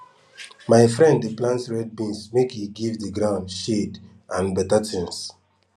my friend dey plant red beans make e give de gound shade and beta tins